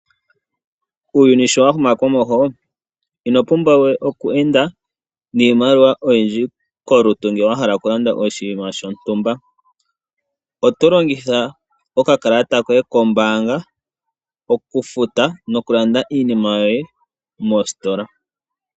Uuyuni shi wa huma komeho ino pumbwa we okweenda niimaliwa oyindji kolutu ngele wa hala okulanda oshinima shontumba. Oto longitha okakalata koye kombaanga okufuta nokulanda iinima yoye moositola.